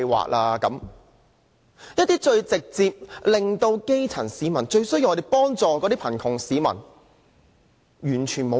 政府完全沒有方向和政策協助基層市民和最需要幫助的貧窮市民。